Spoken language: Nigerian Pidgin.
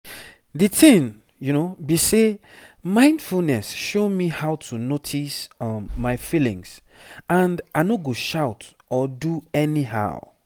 di tin be say mindfulness show me how to notice um my feelings and ano go shout or do anyhow